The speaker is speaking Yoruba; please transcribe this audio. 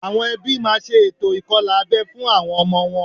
Àwọn ẹbí máa ṣe ètò ìkọlà abẹ́ fún àwọn ọmọ wọn